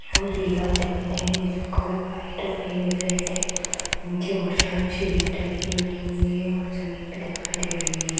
और दीवार दिखाई दे रहे जिसका कलर वाइट और रेड है। नीचे बहोत सारी सीढ़ियाँ टाइप की बनी हुई हैं और जमीन भी दिखाई दे रही है।